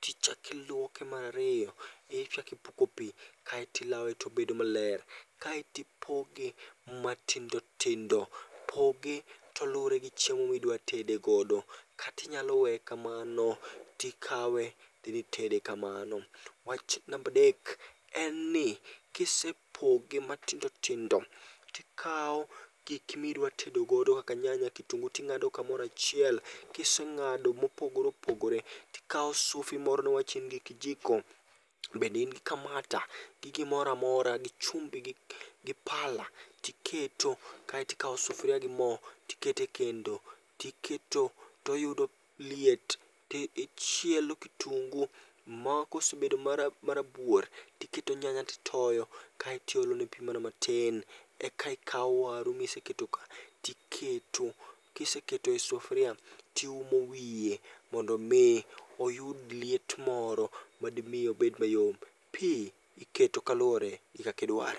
tichakiluoke marariyo, ichakipuko pi. Kaetilawe tobedo maler, kaetipoge matindo tindo. Poge to luwore gi chiemo midwatedegodo. Katinyalo weye kamano tikawe, tidhi itede kamano. Wach nambadek en ni kisepoge matindo tindo tikawo giki midwatedogodo kaka nyanya gi kitungu ting'ado kamorachiel. Kiseng'ado mopogore opogore, tikawo sufi moro niwach in gi kijiko, bende in gi kamata. Gi gimoramora gi chumbi gi pala tiketo kaetikawo sufria gi mo tikete kendo, tiketo toyudo liet. Tichielo kitungu ma kosebedo marabuor, tiketo nyanya titoyo, kaetiolone pi mana matin. Eka ikawo waru miseketo ka tiketo. Kiseketo e sufria, tiumo wiye mondo mi oyud liet moro madimi obed mayom. Pi iketo maluwore gi kakidware.